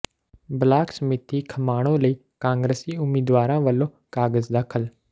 block ਸਮਿਤੀ ਖਮਾਣੋਂ ਲਈ ਕਾਂਗਰਸੀ ਉਮੀਦਵਾਰਾਂ ਵੱਲੋਂ ਕਾਗਜ਼ ਦਾਖਲ